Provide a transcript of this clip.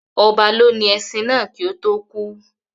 Ọba lónìí ẹṣin náà kii ó tò kú